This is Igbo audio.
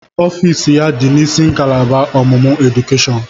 Ọfịs ya dị n'isi ngalaba ọmụmụ edukeshọn.